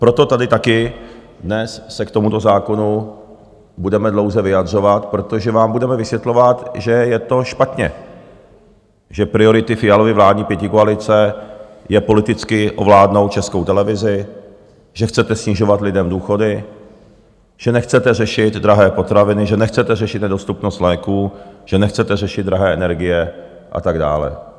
Proto tady taky dnes se k tomuto zákonu budeme dlouze vyjadřovat, protože vám budeme vysvětlovat, že je to špatně, že prioritou Fialovy vládní pětikoalice je politicky ovládnout Českou televizi, že chcete snižovat lidem důchody, že nechcete řešit drahé potraviny, že nechcete řešit nedostupnost léků, že nechcete řešit drahé energie a tak dále.